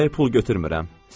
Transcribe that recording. Havayı pul götürmürəm.